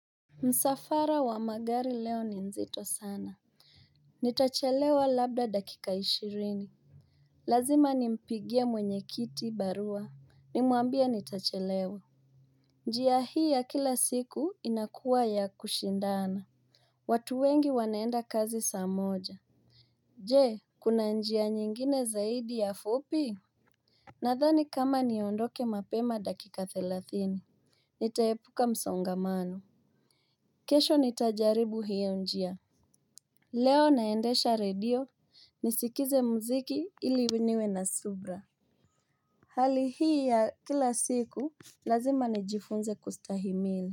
Msafara wa magari leo ni nzito sana nitachelewa labda dakika ishirini. Lazima nimpigia mwenye kiti barua. Nimuambie nitachelewa. Njia hii ya kila siku inakuwa ya kushindana. Watu wengi wanaenda kazi saa moja. Je kuna njia nyingine zaidi ya fupi. Nadhani kama niondoke mapema dakika thilathini. Nitaepuka msongamano. Kesho nitajaribu hiyo njia. Leo naendasha edio ni sikize mziki ili niwe na subra. Hali hii ya kila siku lazima ni jifunze kustahimile.